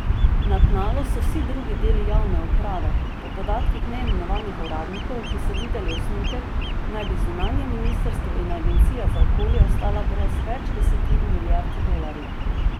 Na tnalu so vsi drugi deli javne uprave, po podatkih neimenovanih uradnikov, ki so videli osnutek, naj bi zunanje ministrstvo in agencija za okolje ostala brez več desetin milijard dolarjev.